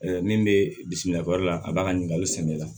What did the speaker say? min bɛ bisimilali la a b'a ka ɲininkali sɛnɛ la